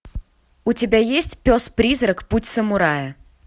у тебя есть пес призрак путь самурая